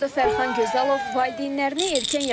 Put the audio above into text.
40 yaşlı Fərxan Gözəlov valideynlərini erkən yaşda itirib.